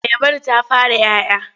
Ayabar ta fara 'ya 'ya?